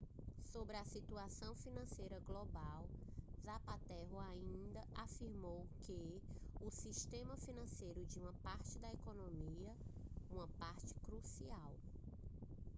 sobre a situação financeira global zapatero ainda afirmou que o sistema financeiro é uma parte da economia uma parte crucial